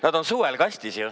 Nad on suvel kastis ju.